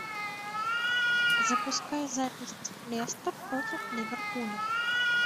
запускай запись лестер против ливерпуля